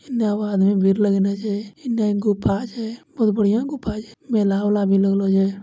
एन्ने आदमी भीड़ लगेने छै इने गुफा छै बहुत बढ़िया गुफा छै मेला-उला भी लगलो छै।